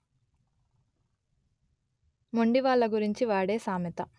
మొండి వాళ్ల గురించి వాడె సామెత